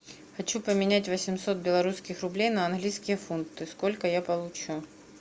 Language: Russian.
хочу поменять восемьсот белорусских рублей на английские фунты сколько я получу